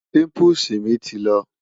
pimples mi ti lọ